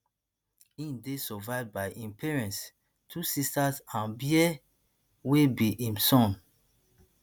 e dey survived by im parents two sisters and bear wey be im son